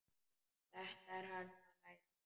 Þetta er hann að læra!